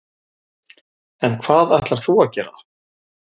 En hvað ætlar þú að gera?